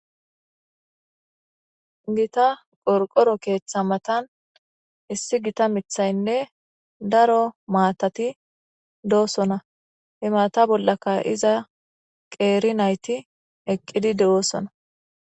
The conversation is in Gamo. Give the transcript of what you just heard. gita qorqoro keeththa matan issi gita mithaynne daro maatati doosona he mata bollaka iza qeeri nayti eqqidi de7oosona